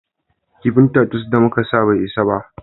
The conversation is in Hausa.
Kifin tatus da muka sa bai isa ba